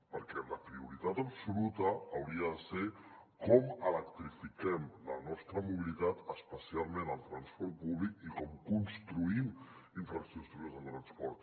perquè la prioritat absoluta hauria de ser com electrifiquem la nostra mobilitat especialment el transport públic i com construïm infraestructures de transport